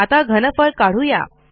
आता घनफळ काढू या